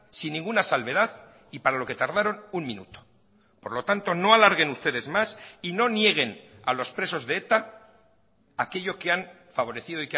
sin ninguna salvedad y para lo que tardaron un minuto por lo tanto no alarguen ustedes más y no nieguen a los presos de eta aquello que han favorecido